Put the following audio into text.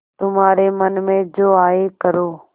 तुम्हारे मन में जो आये करो